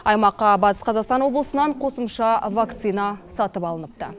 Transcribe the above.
аймаққа батыс қазақстан облысынан қосымша вакцина сатып алыныпты